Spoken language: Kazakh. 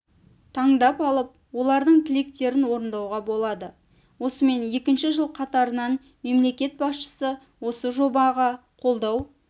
таңдап алып олардың тілектерін орындауға болады осымен екінші жыл қатарынан мемлекет басшысы осы жобаға қолдау